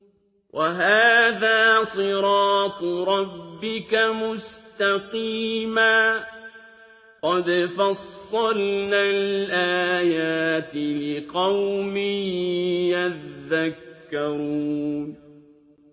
وَهَٰذَا صِرَاطُ رَبِّكَ مُسْتَقِيمًا ۗ قَدْ فَصَّلْنَا الْآيَاتِ لِقَوْمٍ يَذَّكَّرُونَ